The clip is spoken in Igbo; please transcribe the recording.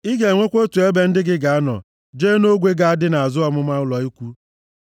Ị ga-enwekwa otu ebe ndị gị ga-anọ jee nʼogwe ga-adị nʼazụ ọmụma ụlọ ikwu.